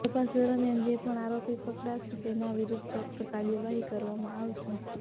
તપાસ દરમિયાન જે પણ આરોપી પકડાશે તેના વિરુદ્વ સખ્ત કાર્યવાહી કરવામાં આવશે